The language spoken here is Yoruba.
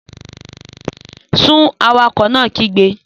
Sún! Awakọ̀ náà kígbe